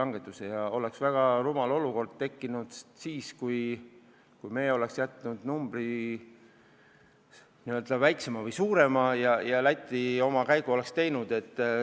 Oleks tekkinud väga rumal olukord, kui me oleks jätnud suurema numbri ja Läti oleks oma käigu teinud.